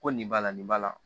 Ko nin b'a la nin b'a la